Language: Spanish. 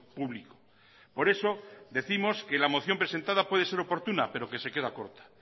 público por eso décimos que la moción presentada puede ser oportuna pero que se queda corta